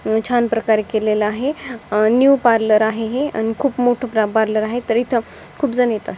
छान प्रकारे केलेल आहे न्यू पार्लर आहे हे आणि खूप मोठ पार्लर आहे तर इथ खूप जन येतात.